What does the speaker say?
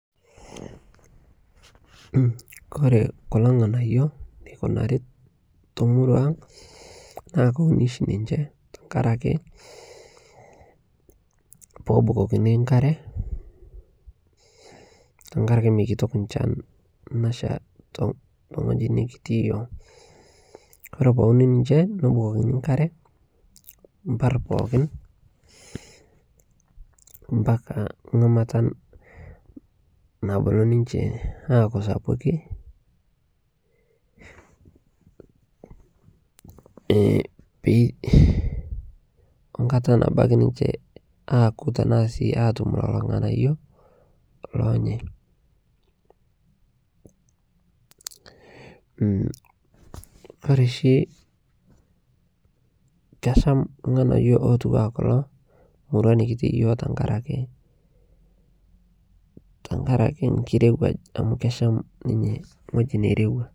Kore kuloo nghanayo neikunarii te murua ang naa kowunii shi ninshe tankarakee poobukokini nkaree tankarakee meikitok nchan nashaa tenghojii nikitii yooh Kore powuni ninshe nobukokini nkaree mpar pookin mpaka ngamata nabulu ninshe aaku sapukii Onkata nabaki ninshee aku tanaa sii atum leloo nghanayo lonyei Kore shi kesham lghanayo lotuwaa kuloo murua nikitii yooh tankarakee nkirewaj amu kesham ninyee nghojii neirewaa.